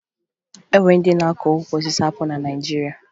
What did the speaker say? O nwere ndị na-akụ ukwu osisi apụlụ na Naịjirịa